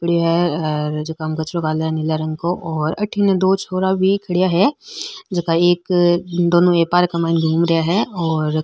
पड़े है हेर जका में कचरो गाले नीला रंग को और अठीने दो छोरा भी खड़िया है जका एक दोनों एक पार्क माय घूम रिया है और --